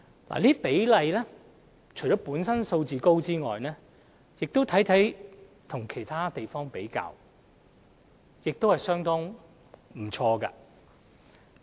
這些比率除了本身數字高外，相比其他海外司法管轄區亦相當不錯。